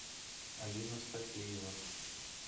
алина стафеева